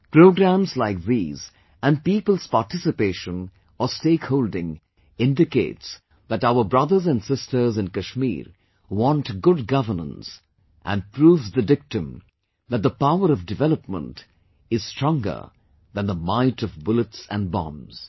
Programmes like these and people's participation or stake holding indicates that our brothers and sisters in Kashmir want good Governance and proves the dictum that the power of development is stronger than the might of bullets and bombs